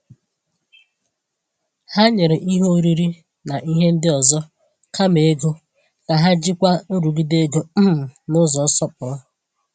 Ha nyere ihe oriri na ihe ndị ọzọ kama ego ka ha jikwaa nrụgide ego um n’ụzọ nsọpụrụ.